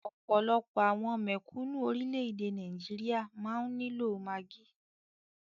Ọ̀pọ̀lọpọ̀ àwọn mèkúnù orilẹ ede Nigeria máa ni lo Maggi.